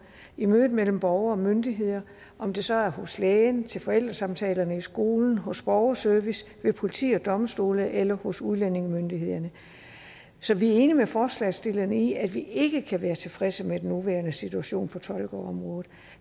i mødet mellem borgere og myndigheder om det så er hos lægen til forældresamtalerne i skolen hos borgerservice ved politi og domstole eller hos udlændingemyndighederne så vi er enige med forslagsstillerne i at vi ikke kan være tilfredse med den nuværende situation på tolkeområdet